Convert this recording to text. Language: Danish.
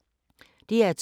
DR2